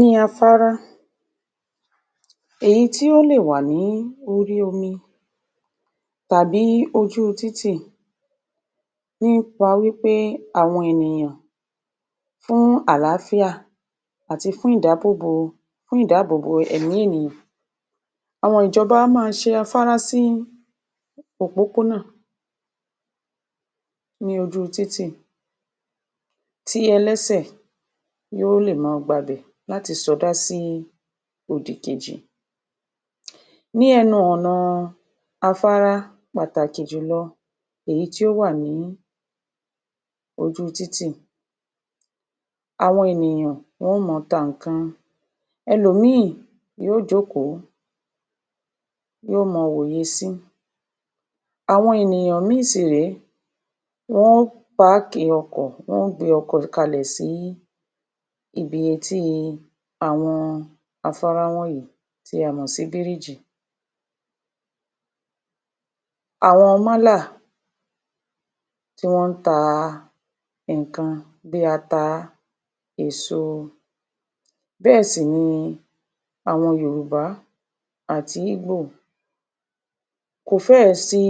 Ní afárá, èyí tí ó lè wà ní orí omi, tàbí ojú títì, nípa wípé àwo̩n ènìyàn fún àlááfíà àti fún ìdábòbo, fún ìdábòbo èmí ènìyàn. Àwo̩n ìjo̩ba a máa s̩e afárá sí òpópónà ní ojú títì yó lè máa gba bè̩ láti so̩dá sí odì kejì. Ní e̩nu o̩nà-an afárá, pàtàkì jùlò̩, èyí tí ó wà ní ojú títì, àwo̩n ènìyàn wo̩n máa ta ǹkan. Ẹlòmíìn yóò jókòó, yóò máa wòye sín. Àwo̩n ènìyàn mìí-ìn sì ré, wo̩n ó páákì o̩kò̩, wo̩n ó gbé o̩kò̩ kalè̩ sí ibi etí àwo̩n afárá wò̩nyí tí a mo̩ sí bíríjì. Àwo̩n málà tí wó̩n ń ta nǹkan bí ata, èso, bé̩è̩ sì ni àwọn Yorùbá àti ígbò, kò fé̩è̩ sí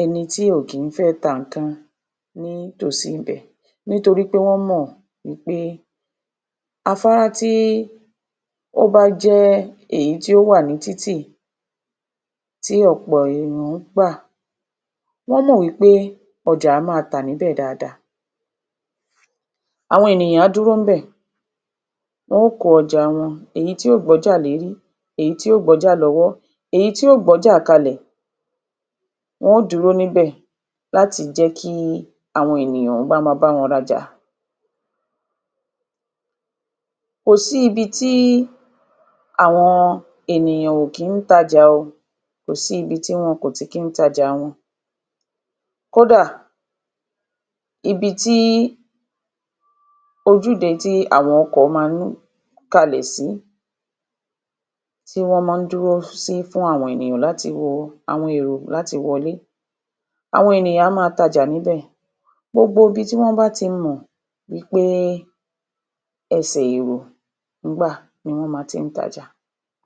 eni tí ò kìí fé̩ ta nǹkan ní tòsí ibè̩, ní tòrí pé wó̩n mò̩ wípé, afárá tí ó bá jé̩ èyí tí ó wà ní títì tí o̩po̩ ènìyàn ń gbà, wó̩n mò̩ wípé o̩jà á máa tà níbè̩ dáadáa. Àwo̩n ènìyàn á dúró ní bè̩ wó̩n ó kó o̩jà wo̩n. èyí tí yóò gb’ójà lérí, èyí tí yóò gb’ójà ló̩wó̩, èyí tí yóò gb’ójà kalè̩, wo̩n óò dúró ní bè̩ láti jé̩kí àwo̩n ènìyàn wá má abá wo̩n rajà. kò sí ibi tí àwo̩n ènìyàn ò kìí tajà o, kò sí ibi tí àwo̩n ènìyàn kò tí kí tajà wo̩n. Kódà, ibi tí ojúde tí àwo̩n o̩kò̩ máa ń kalè̩ sí, tí wó̩n máa n dúró sí fún àwo̩n ènìyàn láti wo, àwo̩n èrò láti wo̩lé. Àwo̩n ènìyàn á máa tajà níbè̩. Gbogbo ibi tí wó̩n bá ti mò̩ wípé̩ e̩sè̩ èrò ń gbà ni wó̩n máa ń ti ń taja.